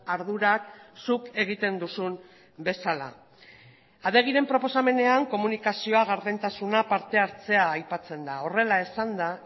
ardurak zuk egiten duzun bezala adegiren proposamenean komunikazioa gardentasuna partehartzea aipatzen da horrela esanda